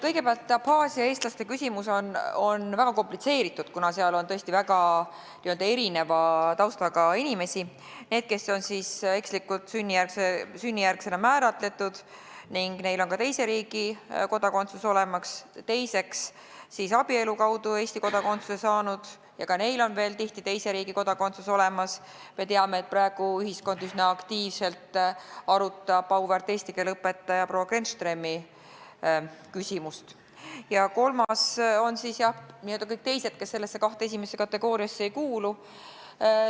Kõigepealt, Abhaasia eestlaste küsimus on väga komplitseeritud, kuna nende hulgas on tõesti väga erineva taustaga inimesi: need, kes on ekslikult sünnijärgse kodanikuna määratletud ning kellel on ka teise riigi kodakondsus olemas, teiseks on abielu kaudu Eesti kodakondsuse saanud, ka neil on tihti teise riigi kodakondsus olemas , ja kolmandaks on n-ö kõik teised, kes esimesse kahte kategooriasse ei kuulu.